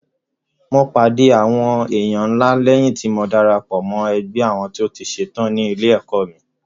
Mo pàdé àwọn èèyàn ńlá léyìn tí mo darapọ̀ mọ́ ẹgbẹ́ àwọn tó ti ṣe tán ní ilé-ẹ̀kọ́ mi.